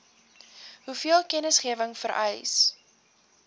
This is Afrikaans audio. hoeveel kennisgewing vereis